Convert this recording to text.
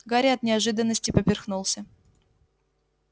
гарри от неожиданности поперхнулся